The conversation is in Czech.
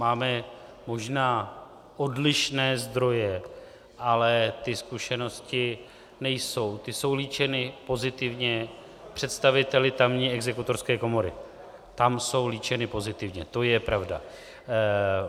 Máme možná odlišné zdroje, ale ty zkušenosti nejsou - ty jsou líčeny pozitivně představiteli tamní exekutorské komory, tam jsou líčeny pozitivně, to je pravda.